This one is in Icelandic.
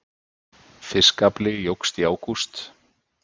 Fiskafli jókst í ágúst